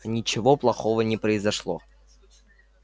ничего плохого не произошло